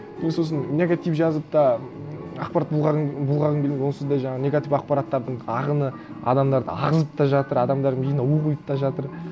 мен сосын негатив жазып та ақпарат бұлғағым келмейді онсыз да жаңағы негатив ақпараттардың ағыны адамдарды ағызып та жатыр адамдардың миына у құйып та жатыр